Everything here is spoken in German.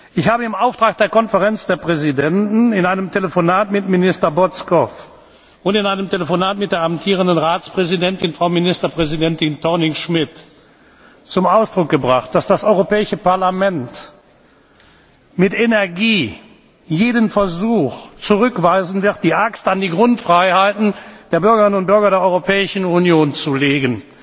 Ich habe im Auftrag der Konferenz der Präsidenten in einem Telefonat mit Minister Bødskov und in einem Telefonat mit der amtierenden Ratspräsidentin, Frau Ministerpräsidentin Thorning Schmidt, zum Ausdruck gebracht, dass das Europäische Parlament mit Energie jeden Versuch zurückweisen wird, die Axt an die Grundfreiheiten der Bürgerinnen und Bürger der Europäischen Union zu legen.